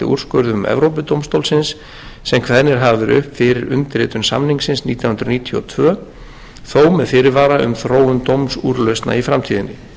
úrskurðum evrópudómstólsins sem kveðnir hafa verið upp fyrir undirritun samningsins nítján hundruð níutíu og tvö þó með fyrirvara um þróun dómsúrlausna í framtíðinni